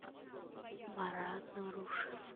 марат нарушев